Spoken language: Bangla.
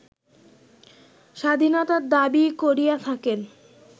স্বাধীনতার দাবী করিয়া থাকেন